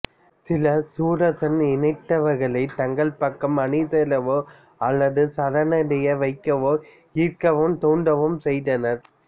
சில சுரசன் இனத்தவர்களைத் தங்கள் பக்கம் அணிசேரவோ அல்லது சரணடைய வைக்கவோ ஈர்க்கவும் தூண்டவும் செய்தனர்